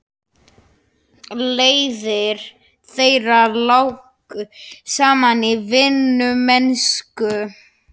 Leiðir þeirra lágu saman í vinnumennsku.